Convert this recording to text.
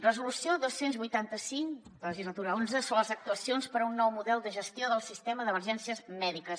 resolució dos cents i vuitanta cinc legislatura xi sobre les actuacions per un nou model de gestió del sistema d’emergències mèdiques